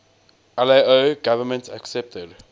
lao government accepted